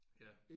Ja